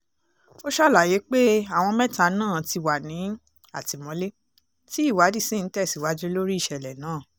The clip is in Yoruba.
ó ṣàlàyé pé àwọn mẹ́ta náà ti wà ní àtìmọ́lé tí ìwádìí sì ń tẹ̀síwájú lórí ìṣẹ̀lẹ̀ náà